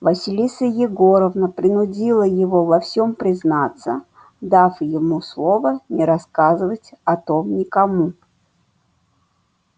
василиса егоровна принудила его во всем признаться дав ему слово не рассказывать о том никому